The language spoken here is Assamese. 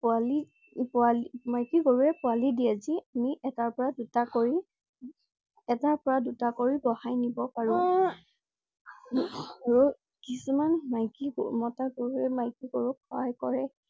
পোৱালি~পোৱাল~মাইকী গুৰুৱে পোৱালি দিয়ে যি আমি এটাৰ পৰা দুটা কৰি~এটাৰ পৰা দুটা কৰি বঢ়াই নিব পাৰো। আৰু কিছুমান মাইকী~মতা গৰুৱে মাইকী গৰুক সহায় কৰে।